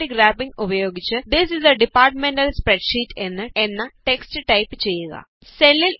automatic wrapping ഉപയോഗിച്ച് this is a department സ്പ്രെഡ്ഷീറ്റ്എന്ന text type ചെയ്യുക